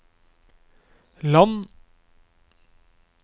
land